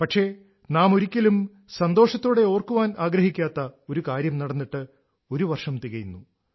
പക്ഷേ നാം ഒരിക്കലും സന്തോഷത്തോടെ ഓർക്കാൻ ആഗ്രഹിക്കാത്ത ഒരു കാര്യം നടന്നിട്ട് ഒരു വർഷം തികയുന്നു